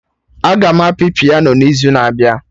Aga m apị piano n'izu na-abịa